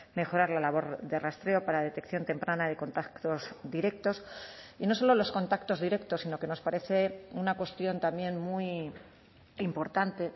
mejorar la labor de rastreo para detección temprana de contactos directos y no solo los contactos directos sino que nos parece una cuestión también muy importante